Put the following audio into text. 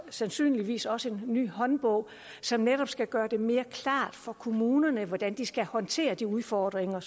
sandsynligvis også en ny håndbog som netop skal gøre det mere klart for kommunerne hvordan de skal håndtere de udfordringer